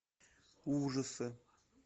ужасы